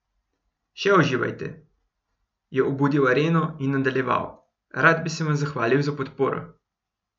Še uživate," je obudil areno in nadaljeval: "Rad bi se vam zahvalil za podporo.